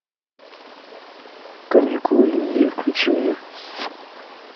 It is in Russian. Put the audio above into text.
каникулы любви включи мне